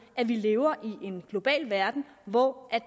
at vi lever i en global verden hvor